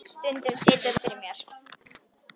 Stundum situr það fyrir mér.